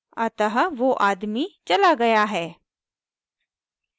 अतः so आदमी चला गया है